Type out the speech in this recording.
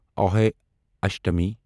Ahoi Ashtami